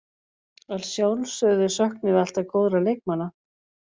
Að sjálfsögðu söknum við alltaf góðra leikmanna.